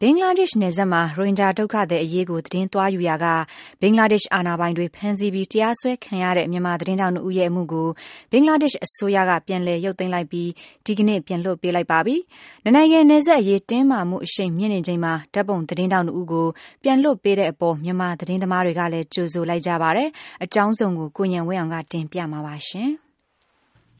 ဘင်္ဂလားဒေ့ရှ်နယ်စပ်မှာ ရိုဟင်ဂျာဒုက္ခသည်အရေးကို သတင်းသွားယူရာက ဘင်္ဂလားဒေ့ရှ်အာဏာပိုင်တွေ ဖမ်းဆီးပြီး တရားစွဲခံရတဲ့ မြန်မာ သတင်းထောက် ဦးရဲ့အမှုကို ဘင်္ဂလားဒေ့ရှ်အစိုးရက ပြန်လည်ရုပ်သိမ်းလိုက်ပြီး ဒီကနေ့ ပြန်လွှတ်ပေးလိုက်ပါပြီ။ နှစ်နိုင်ငံနယ်စပ်အရေး တင်းမာမှု အရှိန်မြင့်နေချိန်မှာ ဓါတ်ပုံသတင်းထောက် ဦးကို ပြန်လွှတ်ပေးတဲ့အပေါ် မြန်မာသတင်းသမား တွေကလည်း ကြိုဆိုလိုက်ကြ ပါတယ်။ အကြောင်းစုံကို ကိုဉာဏ်ဝင်းအောင်က တင်ပြမှာပါ။